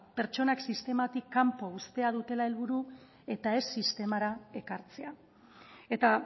pertsonak sistematik kanpo uztea dutela helburu eta ez sistemara ekartzea eta